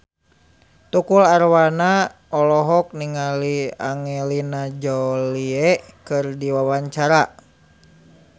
Tukul Arwana olohok ningali Angelina Jolie keur diwawancara